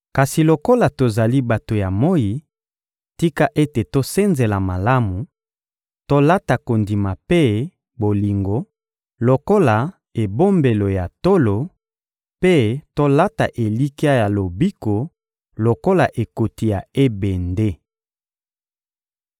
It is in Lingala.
Kasi lokola tozali bato ya moyi, tika ete tosenzela malamu, tolata kondima mpe bolingo lokola ebombelo ya tolo, mpe tolata elikya ya lobiko lokola ekoti ya ebende.